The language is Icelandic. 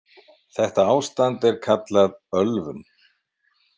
Þetta ástand er kallað ölvun.